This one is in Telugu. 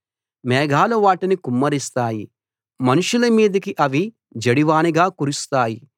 మేఘాలు వాటిని కుమ్మరిస్తాయి మనుషుల మీదికి అవి జడివానగా కురుస్తాయి